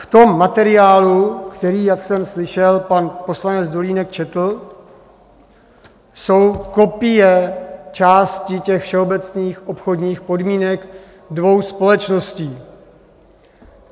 V tom materiálu, který, jak jsem slyšel, pan poslanec Dolínek četl, jsou kopie části těch všeobecných obchodních podmínek dvou společností.